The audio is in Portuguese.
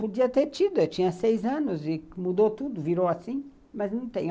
Podia ter tido, eu tinha seis anos e mudou tudo, virou assim, mas não tenho.